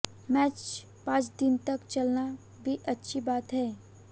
match पांच दिन तक चलना भी अच्छी बात है